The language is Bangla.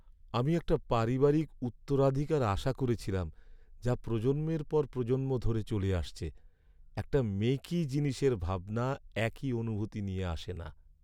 আমি একটা পারিবারিক উত্তরাধিকার আশা করছিলাম, যা প্রজন্মের পর প্রজন্ম ধরে চলে আসছে। একটা মেকি জিনিসের ভাবনা একই অনুভূতি নিয়ে আসে না।